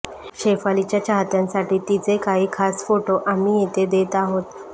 शेफालीच्या चाहत्यांसाठी तिचे काही खास फोटो आम्ही येथे देत आहोत